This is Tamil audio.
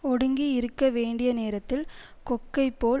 ஒடுங்கி இருக்க வேண்டிய நேரத்தில் கொக்கை போல்